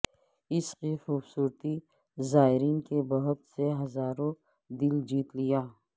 اس کی خوبصورتی زائرین کے بہت سے ہزاروں دل جیت لیا